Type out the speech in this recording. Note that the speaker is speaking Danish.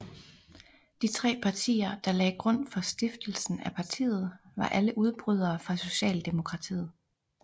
De tre partier der lagde grund for stiftelsen af partiet var alle udbrydere fra Socialdemokratiet